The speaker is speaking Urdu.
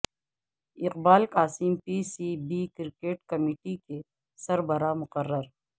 اقبا ل Qasim P C B cricket committee کے سربراہ مقرر